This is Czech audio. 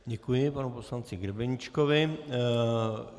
Děkuji panu poslanci Grebeníčkovi.